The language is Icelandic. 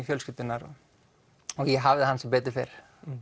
fjölskyldunnar og ég hafði hann sem betur fer